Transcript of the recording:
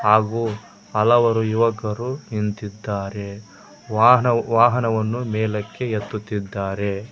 ಹಾಗೂ ಹಲವಾರು ಯುವಕರು ನಿಂತಿದ್ದಾರೆ ವಾಹನ ವಾಹನವನ್ನು ಮೇಲಕ್ಕೆ ಎತ್ತುತ್ತಿದ್ದಾರೆ.